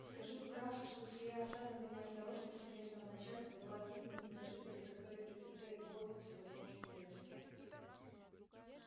скажу вкратце что сия осада по неосторожности местного начальства была гибельна для жителей которые претерпели голод и всевозможные бедствия